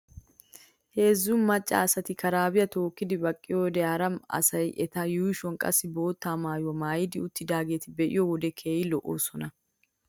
Heezzu macca asati karaabiyaa tookkidi baqqiyoode ha mra asay eta yuushuwan qassi bootta maayuwaa maayidi uttidaageete be'iyoo wode keehi lo'oosona.